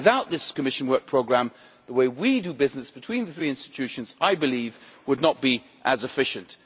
But without this Commission Work Programme, the way we do business between the three institutions would not be as efficient.